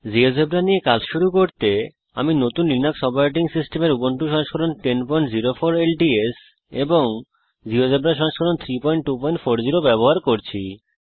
GeoGebra নিয়ে কাজ শুরু করতে আমি নতুন লিনাক্স অপারেটিং সিস্টেমের উবুন্টু সংস্করণ 1004 ল্টস এবং জীয়োজেব্রা সংস্করণ 3240 ব্যবহার করছি